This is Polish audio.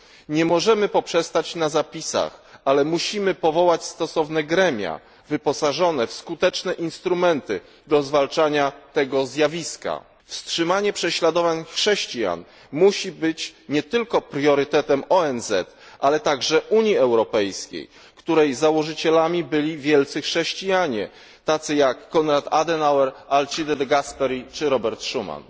Nie możemy poprzestać na zapisach, ale musimy powołać stosowne gremia wyposażone w skuteczne instrumenty do zwalczania tego zjawiska. Wstrzymanie prześladowań chrześcijan musi być nie tylko priorytetem ONZ, ale także Unii Europejskiej, której założycielami byli wielcy chrześcijanie, tacy jak Konrad Adenauer, Alcide de Gasperi czy Robert Schuman.